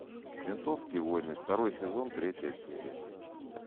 ментовские войны второй сезон третья серия